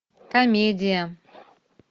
комедия